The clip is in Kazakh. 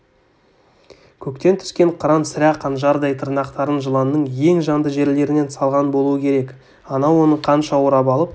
көктен түскен қыран сірә қанжардай тырнақтарын жыланның ең жанды жерлерінен салған болуы керек анау оны қанша орап алып